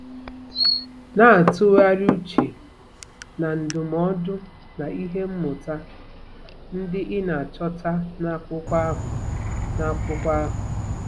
Na-atụgharị uche na ndụmọdụ na ihe mmụta ndị ị na-achọta n'akwụkwọ ahụ. n'akwụkwọ ahụ.